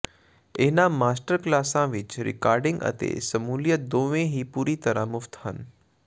ਇਹਨਾਂ ਮਾਸਟਰ ਕਲਾਸਾਂ ਵਿਚ ਰਿਕਾਰਡਿੰਗ ਅਤੇ ਸ਼ਮੂਲੀਅਤ ਦੋਵੇਂ ਹੀ ਪੂਰੀ ਤਰ੍ਹਾਂ ਮੁਫਤ ਹਨ